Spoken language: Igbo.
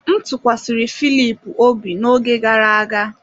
M tụkwasịrị Filip obi n’oge gara aga.